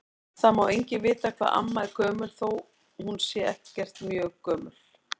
Það má enginn vita hvað amma er gömul þó að hún sé ekkert mjög gömul.